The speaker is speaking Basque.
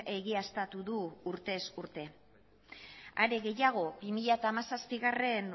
egiaztatu du urtez urte are gehiago bi mila hamazazpigarrena